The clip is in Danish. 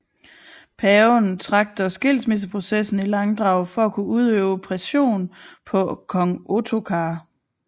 Paven trak dog skilsmisseprocessen i langdrag for at kunne udøve pression på kong Ottokar